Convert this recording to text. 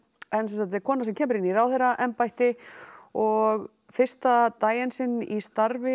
þetta er kona sem kemur inn í ráðherraembætti og fyrsta daginn sinn í starfi